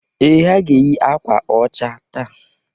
Ee! Ha ga-eyi akwa ọcha taa.